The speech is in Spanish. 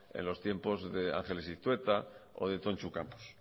en los tiempos de ángeles iztueta o de tontxu campos